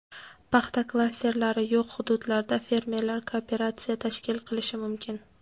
Paxta klasterlari yo‘q hududlarda fermerlar kooperatsiya tashkil qilishi mumkin.